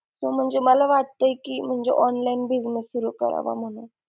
म्हणजे मला वाटतंय कि म्हणजे online business सुरु करावा म्हणून.